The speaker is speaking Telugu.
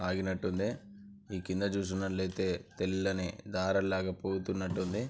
ఆగినట్టుంది. ఈ కింద చూసినట్టైతే తెల్లని దారల్లాగా పూతున్నట్టుంది.